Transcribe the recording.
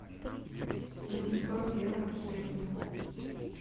восемьсот евро в шекелях